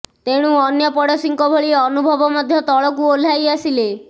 ତେଣୁ ଅନ୍ୟ ପଡ଼ୋଶୀଙ୍କ ଭଳି ଅନୁଭବ ମଧ୍ୟ ତଳକୁ ଓହ୍ଲାଇ ଆସିଲେ